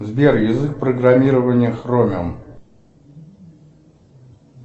сбер язык программирования хромиум